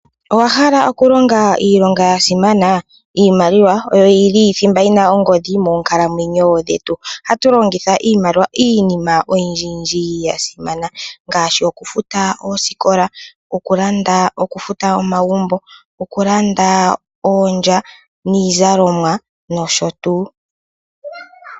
Owahala oku longa iilonga yasimana? Iimaliwa oyo yili thimba yina oongodhi moonkalamwenyo dhetu. Ohatu longitha nee iimaliwa iinima oyindji yindji yasimana ngaashi oku futa oosikola, oku landa, oku futa omagumbo, oku landa oondya niizalomwa nosho tuu.